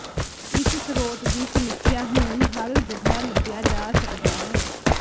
ਇਸ ਸਰੋਤ ਦੀ ਸਮੀਖਿਆ ਹੁਣ ਹਰ ਜਗ੍ਹਾ ਲੱਭਿਆ ਜਾ ਸਕਦਾ ਹੈ